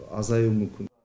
азаю мүмкін